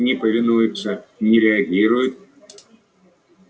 не повинуются не реагируют